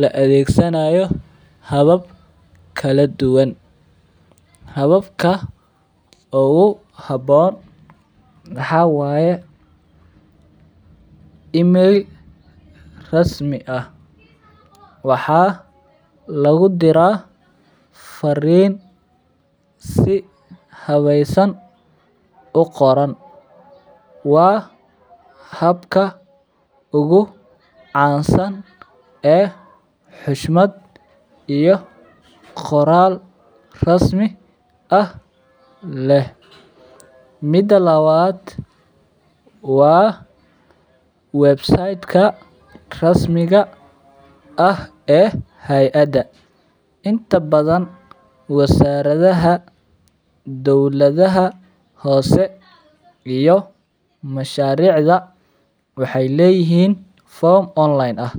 la adhegsanayo habab kala duwan, hababka ogu habon maxaa waye in meel rasmi ah waxaa lagu dira farin si hawesan u qoran waa habka ugu cansan ee xyshmaad iyo qoral rasmi leh, mida lawaada waa website ka ah ee eh heyaada inta badan wasaradhaha dowlaada hose hosheyn ah.